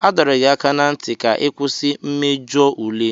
A dọrọ gị aka ná ntị ka ị kwụsị mmejọ ule.